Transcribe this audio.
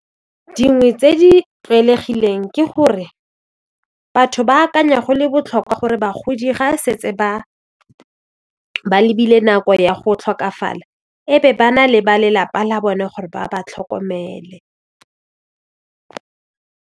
Dingwe tse di tlwaelegileng ke gore batho ba akanya go le botlhokwa gore bagodi ga e setse ba lebile nako ya go tlhokafala e be ba na le ba lelapa la bone gore ba ba tlhokomele.